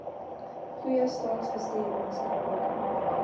goeie staatsbestuur maatskaplike